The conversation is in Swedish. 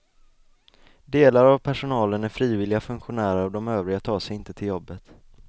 Delar av personalen är frivilliga funktionärer och de övriga tar sig inte till jobbet.